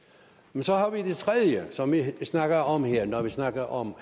men så har vi det tredje som vi snakker om her når vi snakker om